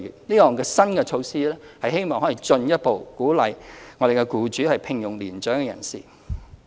這項新措施希望可進一步鼓勵僱主聘用年長人士。